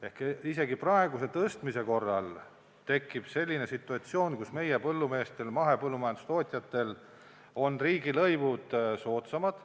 Ehk isegi praeguse tõstmise korral tekib selline situatsioon, kus meie põllumeestel, mahepõllumajandustootjatel on riigilõivud soodsamad.